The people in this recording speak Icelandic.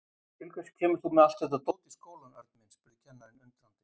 Til hvers kemur þú með allt þetta dót í skólann, Örn minn? spurði kennarinn undrandi.